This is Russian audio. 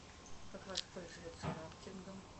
как воспользоваться рафтингом